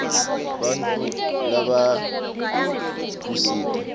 bantfu labatdkusita